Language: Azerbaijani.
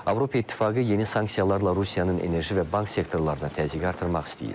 Avropa İttifaqı yeni sanksiyalarla Rusiyanın enerji və bank sektorlarına təzyiqi artırmaq istəyir.